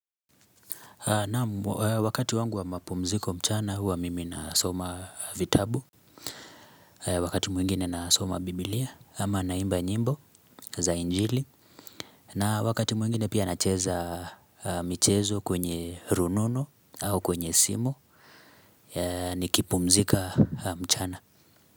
Naam wakati wangu wa mapumziko mchana huwa mimi nasoma vitabu Wakati mwingine nasoma biblia ama naimba nyimbo za injili na wakati mwingine pia nacheza michezo kwenye rununu au kwenye simu nikipumzika mchana.